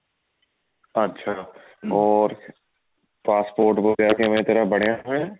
ਅੱਛਾ ਹੋਰ passport ਵਗੇਰਾ ਕਿਵੇਂ ਤੇਰਾ ਬਣਿਆ ਹੋਇਆ